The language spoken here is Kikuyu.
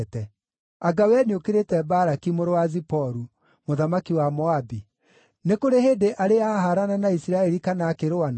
Anga wee nĩũkĩrĩte Balaki mũrũ wa Ziporu, mũthamaki wa Moabi? Nĩ kũrĩ hĩndĩ arĩ ahaarana na Isiraeli kana akĩrũa nao?